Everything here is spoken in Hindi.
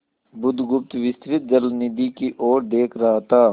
बुधगुप्त विस्तृत जलनिधि की ओर देख रहा था